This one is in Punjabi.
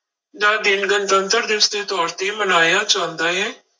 ਦਾ ਦਿਨ ਗਣਤੰਤਰ ਦਿਵਸ ਦੇ ਤੌਰ ਤੇ ਮਨਾਇਆ ਜਾਂਦਾ ਹੈ।